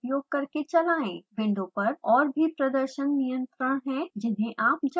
window पर और भी प्रदर्शन नियंत्रण हैं जिन्हें आप जाँच सकते हैं